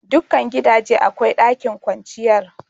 Dukan gidaje akwai ɗakin kwanciyar.